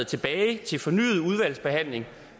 tilbage til fornyet udvalgsbehandling